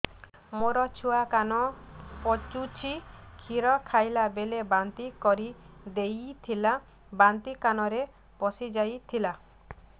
ମୋ ଛୁଆ କାନ ପଚୁଛି କ୍ଷୀର ଖାଇଲାବେଳେ ବାନ୍ତି କରି ଦେଇଥିଲା ବାନ୍ତି କାନରେ ପଶିଯାଇ ଥିଲା